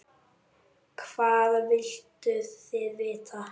Hvað vilduð þið vita?